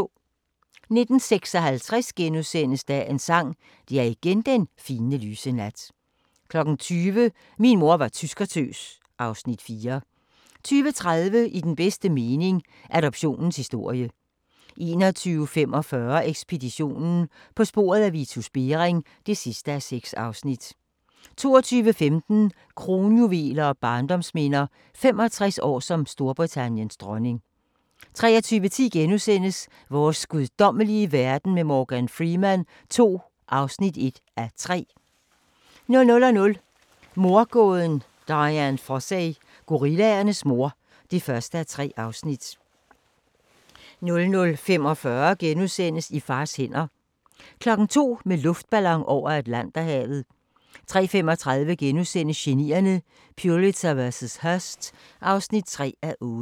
19:56: Dagens Sang: Det er igen den fine, lyse nat * 20:00: Min mor var tyskertøs (Afs. 4) 20:30: I den bedste mening – Adoptionens historie 21:45: Ekspeditionen - på sporet af Vitus Bering (6:6) 22:15: Kronjuveler og barndomsminder – 65 år som Storbritanniens dronning 23:10: Vores guddommelige verden med Morgan Freeman II (1:3)* 00:00: Mordgåden Dian Fossey - gorillaernes mor (1:3)* 00:45: I fars hænder * 02:00: Med luftballon over Atlanterhavet 03:35: Genierne: Pulitzer vs. Hearst (3:8)*